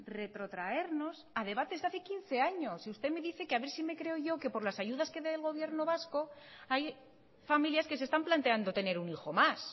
retrotraernos a debates de hace quince años y usted me dice que a ver si me creo yo que por las ayudas que me dé el gobierno vasco hay familias que se están planteando tener un hijo más